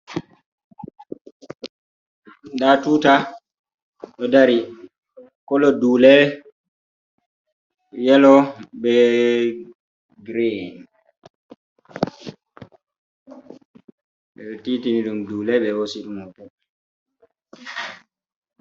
Nda tuta ɗo dari kolo dule, yelo, be grin ɓeɗo titi ni ɗum dule be hosi ɗum hoto.